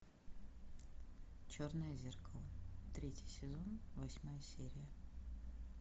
черное зеркало третий сезон восьмая серия